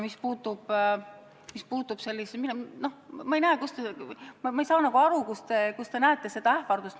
Mis puutub ähvardusse, siis ma ei saa nagu aru, kus te näete ähvardust.